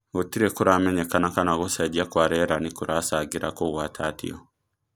Gũtirĩ kũramenyeka kana gũcenjia kwa rĩera nĩkũracangĩra kũgwatatio.